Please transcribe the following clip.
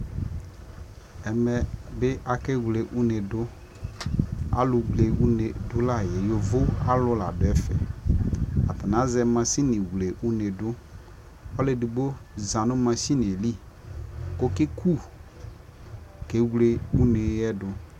ɛmɛ bi akɛ wlɛ ʋnɛ dʋ, alʋ wlɛ ʋnɛdʋ layɛ, yɔvɔ alʋ ladʋ ɛƒɛ, atani azɛ mashini wlɛ ʋnɛdʋ, ɔlʋ ɛdigbɔ zanʋ mashiniɛ ɛli kʋ ɔkɛ kʋ kɛwlɛ ʋnɛ dʋ